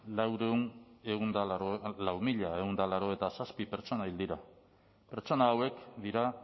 lau mila ehun eta laurogeita zazpi pertsona hil dira pertsona hauek dira